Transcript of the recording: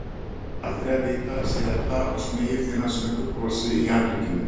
Aldrei að vita, segir Edda og smeygir til hans snöggu brosi í annríkinu.